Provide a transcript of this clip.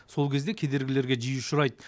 сол кезде кедергілерге жиі ұшырайды